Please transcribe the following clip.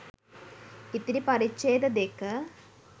ඉතිරි පරිච්ඡේද දෙක